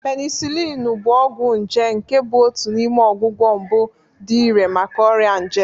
Penisilinu bụ ọgwụ nje nke bụ otu n'ime ọgwụgwọ mbụ dị irè maka ọrịa nje.